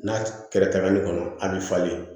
N'a kɛra tagali kɔnɔ a bi falen